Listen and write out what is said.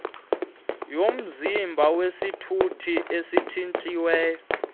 yomzimba wesithuthi itshintshiwe